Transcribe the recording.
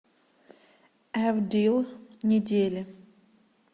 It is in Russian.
эвдил недели